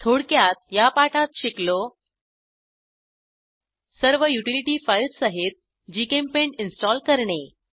थोडक्यात या पाठात शिकलो सर्व युटिलिटी फाईल्स सहित जीचेम्पेंट इन्स्टॉल करणे